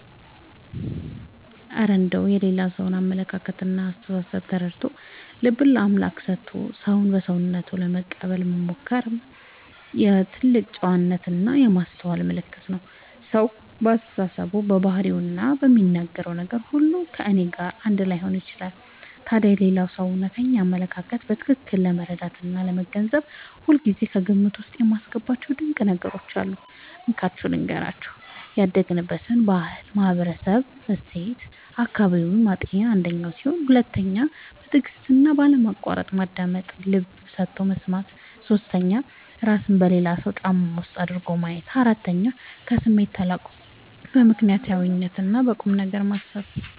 እረ እንደው የሌላ ሰውን አመለካከትና አስተሳሰብ ተረድቶ፣ ልብን ለአምላክ ሰጥቶ ሰውን በሰውነቱ ለመቀበል መሞከርማ የትልቅ ጨዋነትና የማስተዋል ምልክት ነው! ሰው በአስተሳሰቡ፣ በባህሪውና በሚናገረው ነገር ሁሉ ከእኔ ጋር አንድ ላይሆን ይችላል። ታዲያ የሌላውን ሰው እውነተኛ አመለካከት በትክክል ለመረዳትና ለመገንዘብ ሁልጊዜ ከግምት ውስጥ የማስገባቸው ድንቅ ነገሮች አሉ፤ እንካችሁ ልንገራችሁ - 1. ያደገበትን ባህልና ማህበራዊ እሴት (አካባቢውን) ማጤን 2. በትዕግስትና ባለማቋረጥ ማዳመጥ (ልብ ሰጥቶ መስማት) 3. እራስን በሌላው ሰው ጫማ ውስጥ አድርጎ ማየት 4. ከስሜት ተላቆ በምክንያትና በቁምነገር ማሰብ